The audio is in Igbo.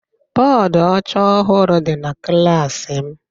Bọdụ ọcha ọhụrụ dị na klas m